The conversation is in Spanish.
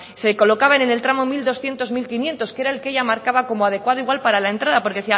se colocaban en el tramo mil doscientos mil quinientos que era el que ella marcaba como adecuado igual para la entrada porque